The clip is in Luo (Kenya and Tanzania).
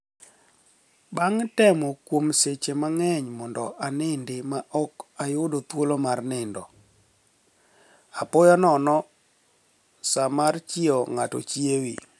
Banig' temo kuom seche manig'eniy monido iniinid ma ok iyudo thuolo mar niinido, apoya nono, sa mar chiewo nig'ato chiewi.